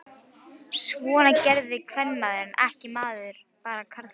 Svona gerði kvenmaður ekki, bara karlmenn.